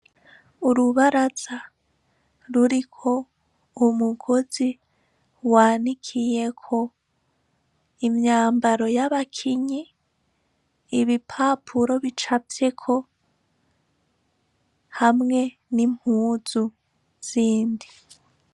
Urubaraza ruriko umugozi wanikiyeko imyambaro y'abakinyi. Ibipapuro bicafyeko hamwe n'impuzu zindi.